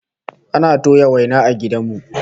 Ana toya waina a gidan mu